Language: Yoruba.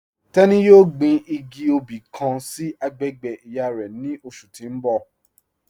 Tẹni yọ̀ọ́ gbìn igì obì kàn sí agbègbè iyá rẹ̀ ni ọṣù tì n bọ̀.